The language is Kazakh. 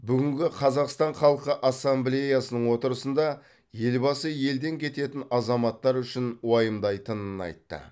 бүгінгі қазақстан халқы ассемблеясының отырысында елбасы елден кететін азаматтар үшін уайымдайтынын айтты